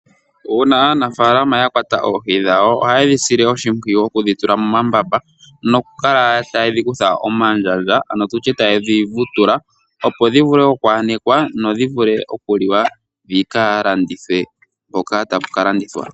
Uuna aanafaalama ya kwata oohi dhawo ohaye dhi sile oshimpwiyu okudhi tula momambamba . Noku kala tayedhi kutha omandjandja ano tutye taye dhi vutula . Opo dhi vule oku anekwa nodhi vule oku liwa dhi ka landithwe mpoka tapu ka landithwa.